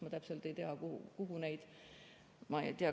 Ma täpselt ei tea, kuhu neid vajatakse.